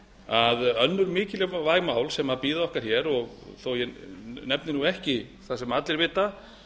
að önnur mikilvæg mál sem bíða okkar hér þó ég nefni nú ekki það sem allir vita